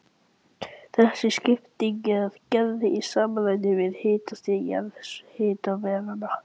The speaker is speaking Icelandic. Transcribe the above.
Þessi skipting er gerð í samræmi við hitastig jarðhitasvæðanna.